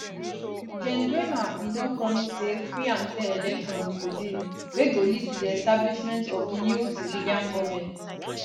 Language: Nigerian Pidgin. gen nguema bn don promise say free and fair elections go dey wey go lead to di establishment of new civilian goment